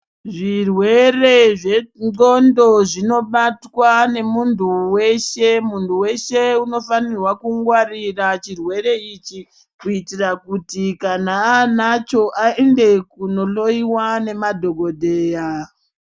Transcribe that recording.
Zvirwere zvendxondo zvinobatwa nemunthu weshe munthu weshe unofanirwa kungwarira chirwere ichi kuitira kuti kana aanacho aende kunohloyiwa nemadhokodheya.